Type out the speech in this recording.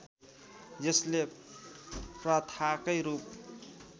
यसले प्रथाकै रूप